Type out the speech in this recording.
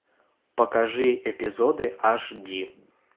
покажи эпизоды аш ди